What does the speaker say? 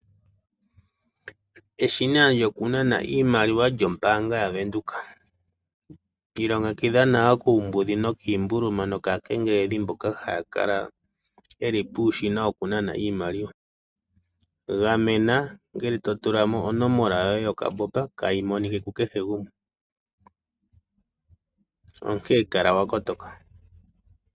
Eshina lyoku nana iimaliwa yombaanga ya Windhoek. Iilongekidha nawa kuumbudhi nokiimbuluma nokaakengeleli mboka ha ya kala ye li puushina wo ku nana iimaliwa. Gamena ongele to tula mo onomola yo kambombo kayi monike ku kehe gumwe. Onkee kala wa kotoka.